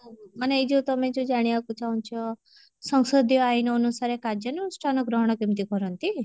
ମାନେ ଏଇ ଯଉ ତମେ ଯଉ ଜାଣିବାକୁ ଚାହୁଁଛ ସଂସଦୀୟ ଆଇନ ଅନୁସାରେ କାର୍ଯ୍ୟାନୁଷ୍ଠାନ ଗ୍ରହଣ କେମିତି କରନ୍ତି